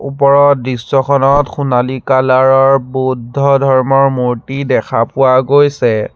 ওপৰৰ দৃশ্যখনত সোণালী কালাৰ ৰ বুদ্ধ ধৰ্মৰ মূৰ্ত্তি দেখা পোৱা গৈছে।